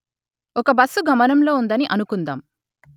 ఒక బస్సు గమనంలో ఉందని అనుకుందాం